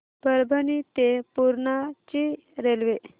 परभणी ते पूर्णा ची रेल्वे